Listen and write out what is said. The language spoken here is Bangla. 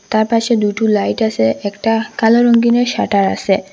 তার পাশে দুইটো লাইট আসে একটা কালো রঙ্গিনের শাটার আসে।